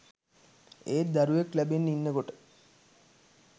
ඒත් දරුවෙක් ලැබෙන්න ඉන්නකොට